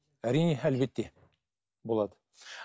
әрине әлбетте болады